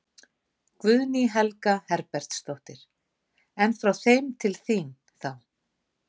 Guðný Helga Herbertsdóttir: En frá þeim til þín, þá?